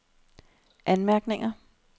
anmærkninger